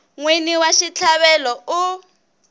n wini wa xitlhavelo u